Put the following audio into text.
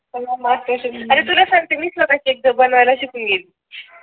अरे तुला सांगते घरी स्वतः केक बनवायला शिकली